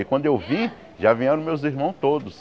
E quando eu vim, já vieram meus irmãos todos.